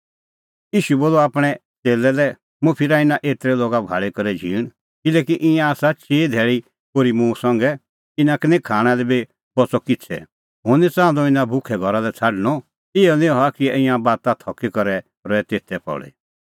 ईशू बोलअ आपणैं च़ेल्लै लै मुंह फिरा इना एतरै लोगा भाल़ी करै झींण किल्हैकि ईंयां आसा चिई धैल़ी ओर्ही मुंह संघै इना का खाणां लै बी निं बच़अ किछ़ै हुंह निं च़ाहंदअ इना भुखै घरा लै छ़ाडणअ इहअ निं हआ कि ईंयां बाता थकी करै रहे तेथै पल़ी